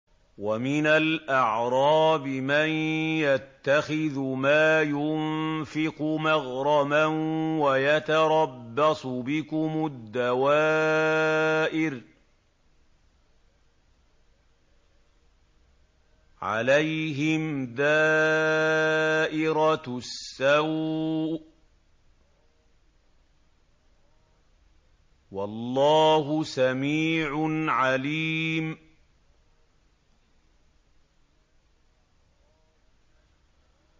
وَمِنَ الْأَعْرَابِ مَن يَتَّخِذُ مَا يُنفِقُ مَغْرَمًا وَيَتَرَبَّصُ بِكُمُ الدَّوَائِرَ ۚ عَلَيْهِمْ دَائِرَةُ السَّوْءِ ۗ وَاللَّهُ سَمِيعٌ عَلِيمٌ